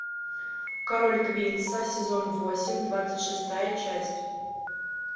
король квинса сезон восемь двадцать шестая часть